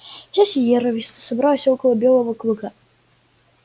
вся сиерра виста собралась около белого клыка